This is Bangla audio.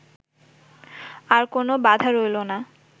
আর কোন বাধা রইল না